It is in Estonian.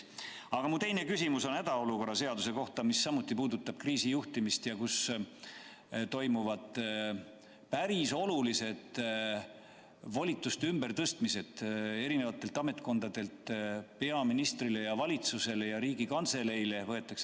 Aga mu teine küsimus on hädaolukorra seaduse kohta, mis samuti käsitleb kriisi juhtimist ja milles toimuvad päris olulised volituste ümbertõstmised eri ametkondadelt peaministrile ja valitsusele ja Riigikantseleile.